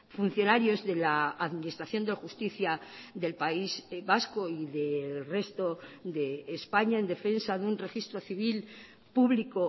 funcionarios de la administración de justicia del país vasco y del resto de españa en defensa de un registro civil público